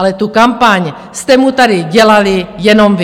Ale tu kampaň jste mu tady dělali jenom vy!